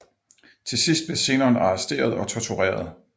Til sidst blev Zenon arresteret og tortureret